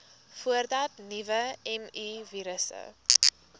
voordat nuwe mivirusse